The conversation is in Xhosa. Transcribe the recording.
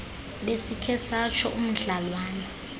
besikhe satsho umdlalwana